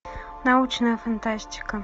научная фантастика